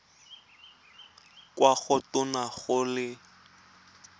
kwa go tona go le